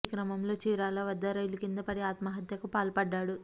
ఈ క్రమంలో చీరాల వద్ద రైలు కింద పడి ఆత్మహత్యకు పాల్పడ్డాడు